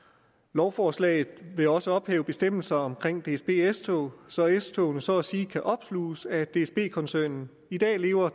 lovforslaget vil også ophæve bestemmelser omkring dsb s tog så s togene så at sige kan opsluges af dsb koncernen i dag lever